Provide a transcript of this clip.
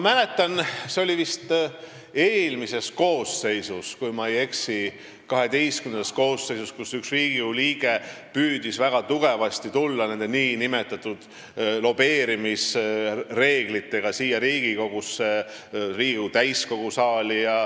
See oli vist eelmises koosseisus, kui ma ei eksi, siis 12. koosseisus, kui üks Riigikogu liige püüdis väga tugevasti tulla nende nn lobeerimisreeglitega siia Riigikogusse, Riigikogu täiskogu saali.